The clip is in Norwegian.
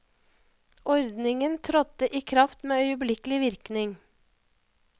Ordningen trådte i kraft med øyeblikkelig virkning.